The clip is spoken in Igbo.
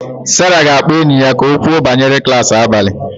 Sarah ga-akpọ enyi ya ka o kwuo banyere klas abalị